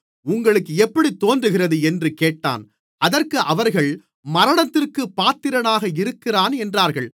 உங்களுக்கு எப்படித் தோன்றுகிறது என்று கேட்டான் அதற்கு அவர்கள் மரணத்திற்குப் பாத்திரனாக இருக்கிறான் என்றார்கள்